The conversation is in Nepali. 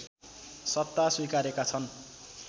सत्ता स्वीकारेका छन्